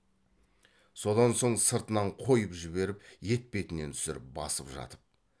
содан соң сыртынан қойып жіберіп етпетінен түсіріп басып жатып